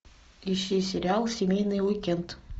ищи сериал семейный уикенд